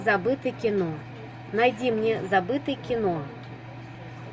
забытый кино найди мне забытый кино